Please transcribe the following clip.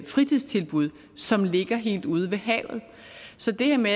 fritidstilbud som ligger helt ude ved havet så det her med